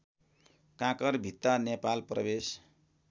काँकरभित्ता नेपाल प्रवेश